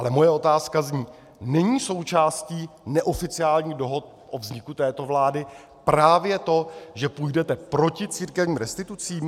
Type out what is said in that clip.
Ale moje otázka zní - není součástí neoficiálních dohod o vzniku této vlády právě to, že půjdete proti církevním restitucím?